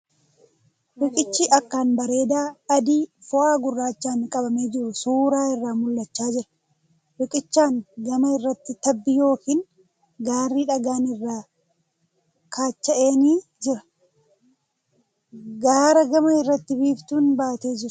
Riiqichi akkaan bareedaa adii fi foo'aa gurraachaan qabamee jiru suura irraa mul'achaa jira. Riiqichaan gama irratti tabbi yookiin gaarri dhagaan irraa kaacha'e ni jira. Gaara gamaa irratti biiftuun baatee jirti.